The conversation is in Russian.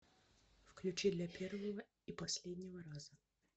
включи для первого и последнего раза